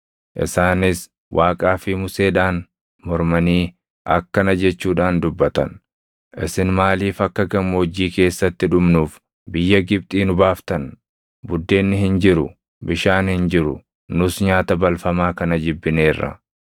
isaanis Waaqaa fi Museedhaan mormanii akkana jechuudhaan dubbatan; “Isin maaliif akka gammoojjii keessatti dhumnuuf biyya Gibxii nu baaftan? Buddeenni hin jiru! Bishaan hin jiru! Nus nyaata balfamaa kana jibbineerra!”